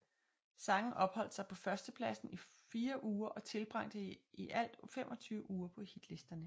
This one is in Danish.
Sangen opholdt sig på førstepladsen i fore uger og tilbragte i alt 25 uger på hitlisterne